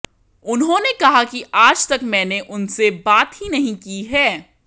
उन्होंने कहा कि आज तक मैंने उनसे बात ही नहीं की है